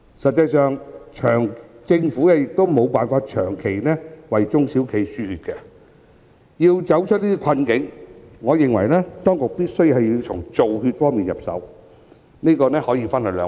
實際上，政府亦無法長期為中小企"輸血"，要走出困境，我認為當局必須從"造血"方面入手，這可分為兩步。